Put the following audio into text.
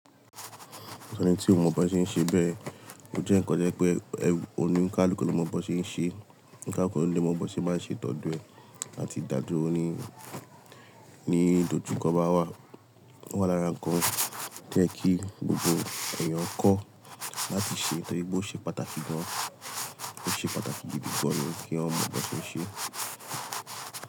Ẹni tí ó mọ bó ṣe ń ṣe bẹ́ẹ̀, ó jẹ́ ǹkan to jẹ́ pé ẹ́, òní kaluku ló mọ bó ṣe ń ṣe, onikaluku ló mọ bó ṣe máa ń ṣe tọ́ do ẹ, àti ìdádúró ní ní ìdojúkọ bá wà. O wá lára ǹkan to ye kí gbogbo èèyàn kọ́ láti ṣe, nitorí pe o ṣe pàtàkì gan-an, ó ṣe pàtàkì gidi gan ni kí eeyan mọ bó ṣe ń ṣe.